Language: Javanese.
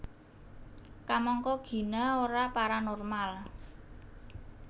Kamangka Gina ora paranormal